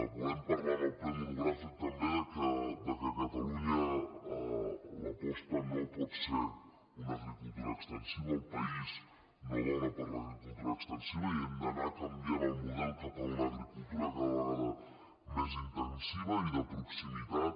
volem parlar en el ple monogràfic també del fet que a catalunya l’aposta no pot ser una agricultura extensiva el país no dóna per a una agri·cultura extensiva i hem d’anar canviant el model cap a una agricultura cada vegada més intensiva i de pro·ximitat